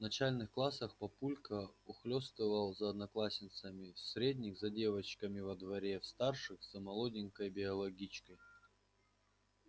в начальных классах папулька ухлёстывал за одноклассницами в средних за девчонками во дворе в старших за молоденькой биологичкой